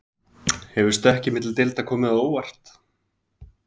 Hefur stökkið milli deilda komið á óvart?